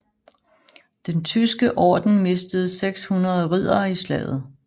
Den Tyske Orden mistede 600 riddere i slaget